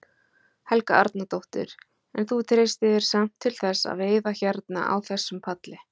Helga Arnardóttir: En þú treystir þér samt til þess að veiða hérna á þessum palli?